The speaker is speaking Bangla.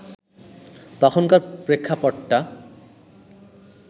তখনকার প্রেক্ষাপটটা